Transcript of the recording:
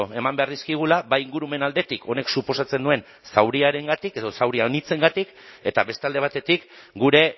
eman behar dizkigula bai ingurumen aldetik honek suposatzen duen zauriengatik edo zauria anitzengatik eta beste alde batetik gure